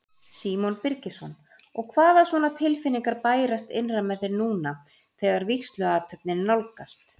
Símon Birgisson: Og hvaða svona tilfinningar bærast innra með þér núna þegar vígsluathöfnin nálgast?